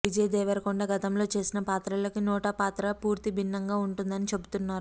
విజయ్ దేవరకొండ గతంలో చేసిన పాత్రలకి నోటా పాత్ర పూర్తి భిన్నంగా ఉంటుందని చెబుతున్నారు